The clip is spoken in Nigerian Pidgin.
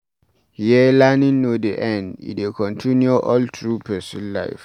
Here, learning no dey end, e dey continue all through person life